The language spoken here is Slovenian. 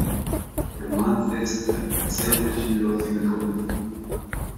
Roman ceste z ekscentričnimi lovskim zgodbicami.